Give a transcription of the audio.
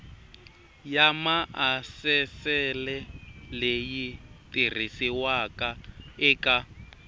ya maasesele leyi tirhisiwaka eka